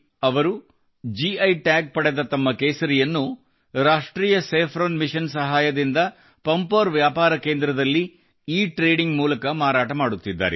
ಅವರು ಗಿ ಟಾಗ್ ಮಾಡಲಾದ ತಮ್ಮ ಕೇಸರಿಯನ್ನು ರಾಷ್ಟ್ರೀಯ ಸ್ಯಾಫ್ರನ್ ಮಿಷನ್ ಸಹಾಯದಿಂದ ಪಂಪೋರ್ ವ್ಯಾಪಾರ ಕೇಂದ್ರದಲ್ಲಿ ಇಟ್ರೇಡಿಂಗ್ ಮೂಲಕ ಮಾರಾಟ ಮಾಡುತ್ತಿದ್ದಾರೆ